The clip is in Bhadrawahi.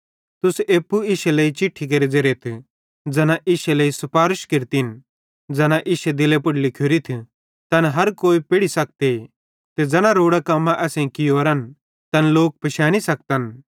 तुस एप्पू इश्शी लेइ चिट्ठी केरे ज़ेरेथ ज़ैना इश्शे लेइ सुपारश केरतिन ज़ैना इश्शे दिले पुड़ लिखोरिथ तैन हर कोई पेढ़ी सखते ते ज़ैना रोड़ां कम्मां असेईं कियोरन तैन लोक पिशैनी सखतन